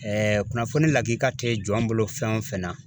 kunnafoni lakika tɛ jɔn bolo fɛn o fɛn na